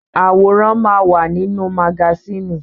Àwòrán máa wà nínú magásìnì.